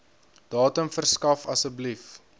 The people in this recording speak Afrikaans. datum verskaf asseblief